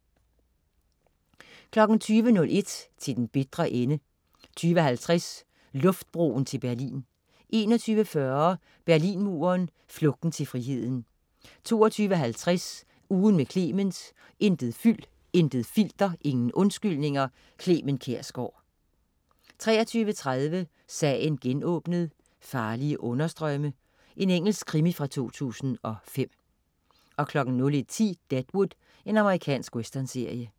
20.01 Til den bitre ende 20.50 Luftbroen til Berlin 21.40 Berlinmuren, flugten til friheden 22.50 Ugen med Clement. Intet fyld, intet filter, ingen undskyldninger. Clement Kjersgaard 23.30 Sagen genåbnet: Farlige understrømme. Engelsk krimi fra 2005 01.10 Deadwood. Amerikansk westernserie